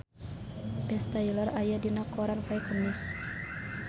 Ben Stiller aya dina koran poe Kemis